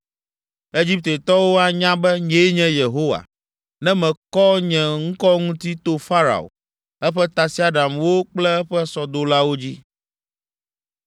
Egiptetɔwo anya be nyee nye Yehowa, ne mekɔ nye ŋkɔ ŋuti to Farao, eƒe tasiaɖamwo kple eƒe sɔdolawo dzi.”